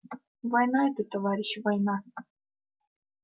война это товарищи война